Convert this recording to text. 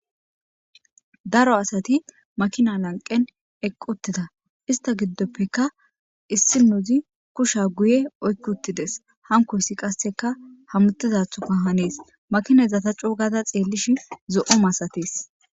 Daro asati makina gidon eqi utida henitapeka issinozi kushya guye oyiki utides hanikoyis qaseka hamutizathoka hanes makinaza ta coogada xelishin zo'o masates